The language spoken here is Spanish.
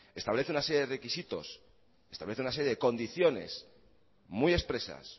establece una serie de requisitos establece una serie de condiciones muy expresas